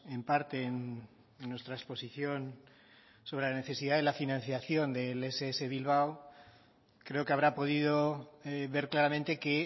en parte en nuestra exposición sobre la necesidad de la financiación del ess bilbao creo que habrá podido ver claramente que